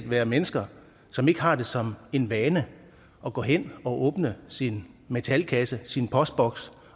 være mennesker som ikke har det som en vane at gå hen og åbne sin metalkasse sin postboks